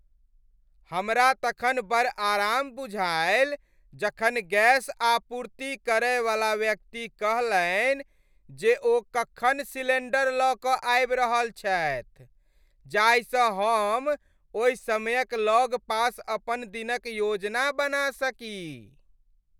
हमरा तखन बड़ आराम बुझायल जखन गैस आपूर्ति करैवला व्यक्ति कहलनि जे ओ कखन सिलेंडर लऽ कऽ आबि रहल छथि, जाहिसँ हम ओहि समयक लगपास अपन दिनक योजना बना सकी।